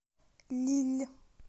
лилль